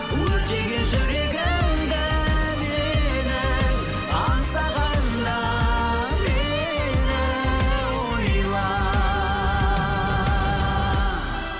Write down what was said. өртеген жүрегімді менің аңсағанда мені ойла